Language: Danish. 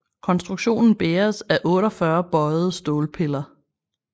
Konstruktionen bæres af 48 bøjede stålpiller